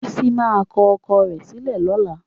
Bísí máa kọ ọkọ rẹ̀ sílẹ̀ lọ́la.